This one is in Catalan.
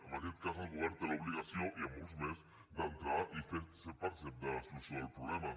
en aquest cas el govern té la obligació i en molts més d’entrar i ser partícip de la solució del problema